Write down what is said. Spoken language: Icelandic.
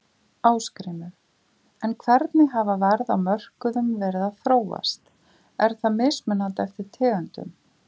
Ásgrímur: En hvernig hafa verð á mörkuðum verið að þróast, er það mismunandi eftir tegundum?